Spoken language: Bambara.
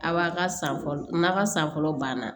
A b'a ka san fɔlɔ n'a ka san fɔlɔ banna